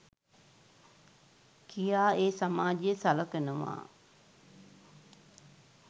කියා ඒ සමාජය සලකනවා.